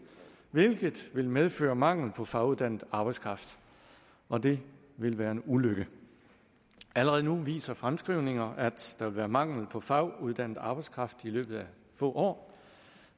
hvilket vil medføre mangel på faguddannet arbejdskraft og det vil være en ulykke allerede nu viser fremskrivninger at der vil være mangel på faguddannet arbejdskraft i løbet af få år